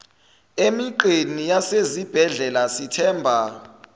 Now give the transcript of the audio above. emigqeni yasezibhedlela sithemba